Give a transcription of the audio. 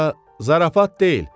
Sonra zarafat deyil.